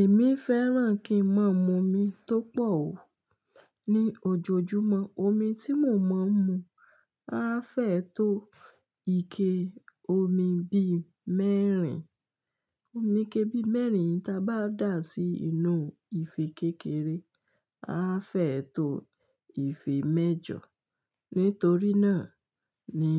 Èmi fẹ́ràn kí n máa mu omi tó pọ̀ ó ní ojoojúmọ́. Omi tí mo máa ń mu á fẹ́ tó ike omi bí mẹ́rin. Omi kébí mẹ́rin tí a bá dà á sí inú ife kékeré, a fẹ́ tó ife mẹ́jọ. Nítorí náà ni